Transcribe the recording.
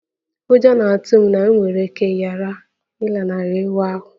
Ụjọ na-atụ m na m nwere ike ghara ịlanarị ịwa ahụ